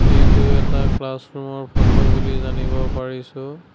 এইটো এটা ক্লাছৰুম ৰ ফটো বুলি জানিব পাৰিছোঁ।